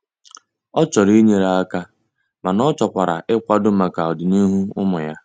Ọ chọrọ inyere aka mana ọchọkwara ịkwado maka ọdị n'ihu ụmụ ya.